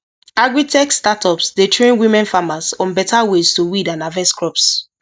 agritech startups dey train women farmers on better ways to weed and harvest crops